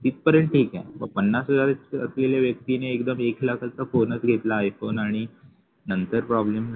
इथपर्यंत ठीके मग पन्नास हजार असलेल्या व्यक्तीने एकदम एक लाखाचं bonus घेतला आहे पण आणि नंतर problem